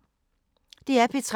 DR P3